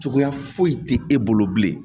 Cogoya foyi tɛ e bolo bilen